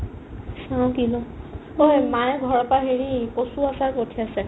চাও কিবা অ সেই মায়ে ঘৰৰ পাই হেৰি কচুৰ আচাৰ পঠিয়াইছে